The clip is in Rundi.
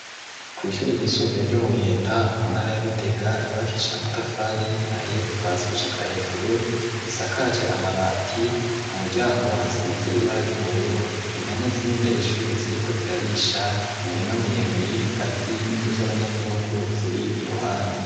Kw'ishuri ry'isumbuye ryo mu Giheta mu ntara ya Gitega yubakishe amatafari ahiye kuva hasi gushika hejuru risakaje amabati ku muryango hasize ibara ry'ubururu impene ziri mbere y'ishuri ziriko zirarisha imirima miremire y'ibigazi n'inzu z'abanyagihugu ziri iruhande.